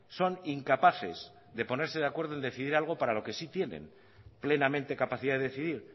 son incapaces de ponerse de acuerdo en decidir algo para lo que sí tienen plenamente capacidad de decidir